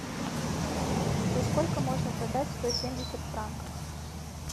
за сколько можно продать сто семьдесят франков